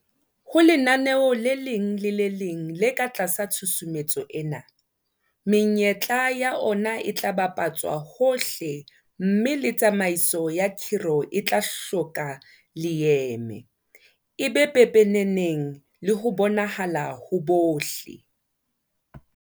Ho lenaneo le leng le le leng le ka tlasa tshusumetso ena, menyetla ya ona e tla bapa tswa hohle mme le tsamaiso ya khiro e tla hloka leeme, e be pepeneneng le ho bonahala ho bohle.